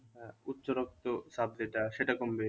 আহ উচ্চ রক্ত চাপ যেটা সেটা কমবে